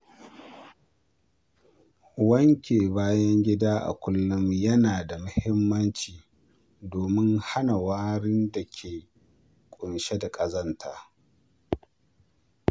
Wanke bayan gida a kullum yana da muhimmanci domin hana warin da ke ƙunshe da ƙazanta.